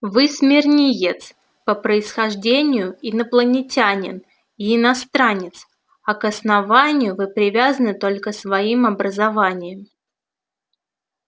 вы смирниец по происхождению инопланетянин и иностранец а к основанию вы привязаны только своим образованием